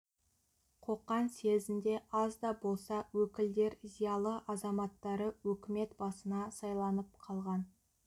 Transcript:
қоқан съезінде аз да болса өкілдер зиялы азаматтары өкімет басына сайланып қалған